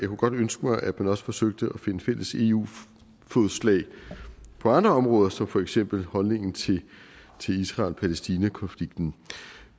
kunne ønske mig at man også forsøgte at finde fælles eu fodslag på andre områder som for eksempel holdningen til israel palæstina konflikten